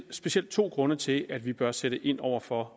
specielt to grunde til at vi bør sætte ind over for